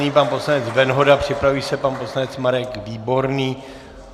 Nyní pan poslanec Venhoda, připraví se pan poslanec Marek Výborný.